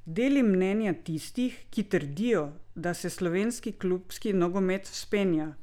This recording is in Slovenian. Deli mnenje tistih, ki trdijo, da se slovenski klubski nogomet vzpenja?